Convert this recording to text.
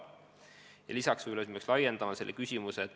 Tegelikult me peaks võib-olla seda küsimust laiendama.